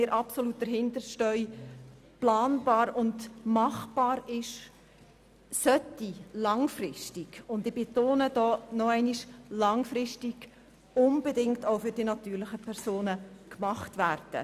Was in diesem Bereich machbar ist, sollte langfristig – ich betone: langfristig – unbedingt auch für die natürlichen Personen gemacht werden.